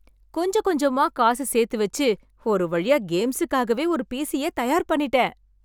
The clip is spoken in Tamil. கொஞ்ச கொஞ்சமா காசு சேத்து வெச்சு ஒரு வழியா கேம்ஸுக்காகவே ஒரு பீசிய தயார் பண்ணிட்டேன்!